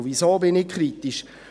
Weshalb bin ich kritisch?